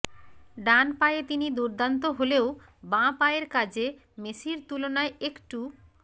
ডান পায়ে তিনি দুর্দান্ত হলেও বাঁ পায়ের কাজে মেসির তুলনায় একটু